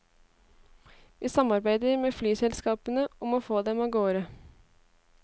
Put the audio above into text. Vi samarbeider med flyselskapene om å få dem av gårde.